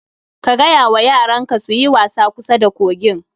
Ka gaya wa yaran ka su yi wasa kusa da kogin